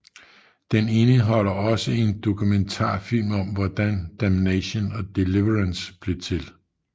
Den indeholder også en dokumentarfilm om hvordan Damnation og Deliverance blev til